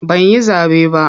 Ban yi zaɓe ba.